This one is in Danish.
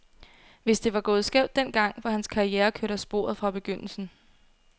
Hvis det var gået skævt den gang, var hans karriere kørt af sporet fra begyndelsen.